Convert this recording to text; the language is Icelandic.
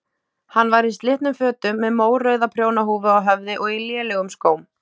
Hann var í slitnum fötum með mórauða prjónahúfu á höfði og í lélegum skóm.